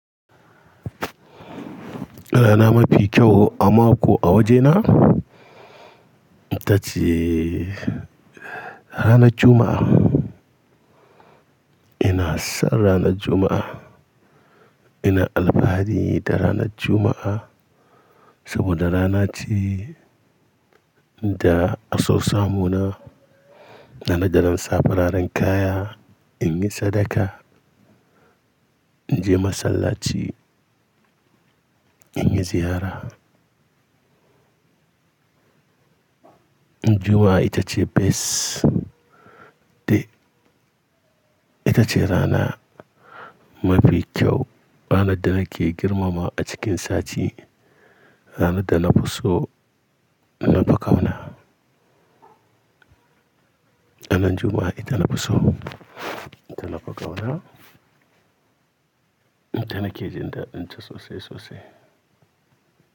Rana mafi kyau a mako a wajena? Ita ce ranar Juma'a. Ina son ranar Juma'a. Ina alfahari da ranar Juma'a saboda rana ce da a sau samu na, ranar da zan sa fararen kaya, in yi sadaka, in je masallaci, in yi ziyara. Juma'a ita ce best day. Ita ce rana mafi kyau, ranar da nake girmama a cikin sati, rana da na fi so na fi ƙauna. Ranar Juma'a ita na fi so, ita na fi ƙauna, ita nake jin dadin ta sosai sosai.